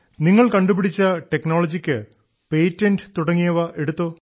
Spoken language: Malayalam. നിങ്ങൾ കണ്ടുപിടിച്ച ടെക്നോളജിക്ക് പേറ്റന്റ് തുടങ്ങിയവ എടുത്തോ